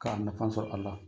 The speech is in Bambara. Ka nafa sɔrɔ a la.